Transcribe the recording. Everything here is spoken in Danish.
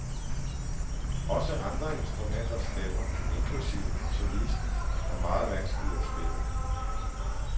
Også andre instrumenters stemmer, inklusive solistens, er meget vanskelige at spille.